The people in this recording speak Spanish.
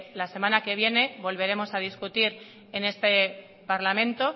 la semana que viene volveremos a discutir en este parlamento